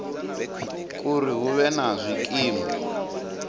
uri hu vhe na zwikimu